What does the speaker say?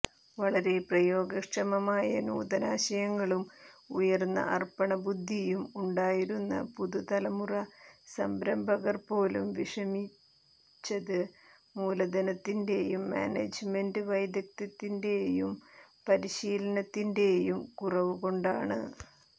വളരെ പ്രയോഗക്ഷമമായ നൂതനാശയങ്ങളും ഉയർന്ന അർപ്പണബുദ്ധിയും ഉണ്ടായിരുന്ന പുതുതലമുറ സംരംഭകർ പോലും വിഷമിച്ചത് മൂലധനത്തിന്റെയും മാനേജ്മെന്റ് വൈദഗ്ധ്യത്തിന്റെയും പരിശീലനത്തിന്റെയും കുറവുകൊണ്ടാണ്